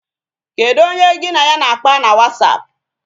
Kedu onye gị na ya na-akpa na wasapụ?